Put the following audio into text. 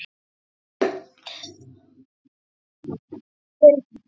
Heldurðu það, Friðrik minn? sagði hann.